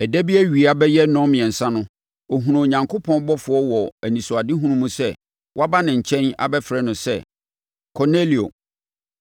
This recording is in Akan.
Ɛda bi awia bɛyɛ nnɔnmiɛnsa no, ɔhunuu Onyankopɔn ɔbɔfoɔ wɔ anisoadehunu mu sɛ waba ne nkyɛn abɛfrɛ no sɛ, “Kornelio!”